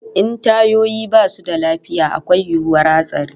In tayoyi basu da lafiya akwai yiwuwar hatsari